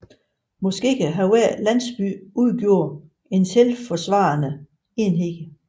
Måske har hver landsby udgjort en selvforsvarende enhed